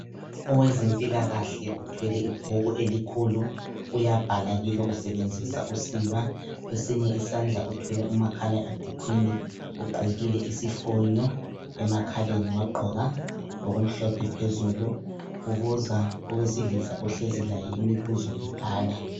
Owezempilakahle uthwele ibhuku elikhulu. Uyabhala kilo usebenzisa usiba, kwesinye isandla uthwele umakhala ekhukhwini, ugqokile isifonye emakhaleni wagqoka lokumhlophe phezulu. Ubuza owesilisa ohlezi laye imibuzo ebhala.